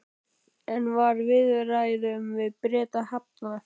En var viðræðum við Breta hafnað?